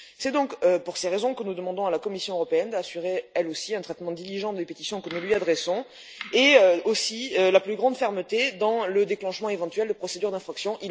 C'est pour ces raisons que nous demandons à la Commission européenne d'assurer, elle aussi, un traitement diligent des pétitions que nous lui adressons ainsi que la plus grande fermeté dans le déclenchement éventuel de procédures d'infraction.